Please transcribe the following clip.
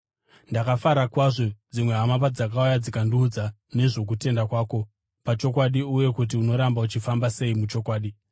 Ndakafara kwazvo dzimwe hama padzakauya dzikandiudza nezvokutendeka kwako pachokwadi uye kuti unoramba uchifamba sei muchokwadi.